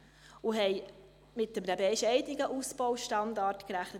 Wir haben einen bescheidenen Ausbaustandard eingerechnet.